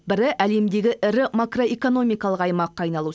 бірі әлемдегі ірі макроэкономикалық аймаққа айналу